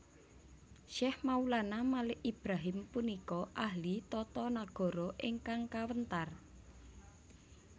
Syekh Maulana Malik Ibrahim punika ahli tata nagara ingkang kawentar